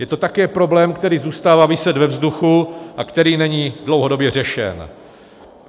Je to také problém, který zůstává viset ve vzduchu a který není dlouhodobě řešen.